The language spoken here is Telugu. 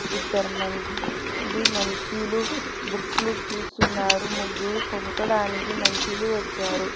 ఇద్దరు మనుషులు బుక్ లో చూస్తున్నారు ముగ్గురు కొనకడానికి మనుషులు వచ్చారు.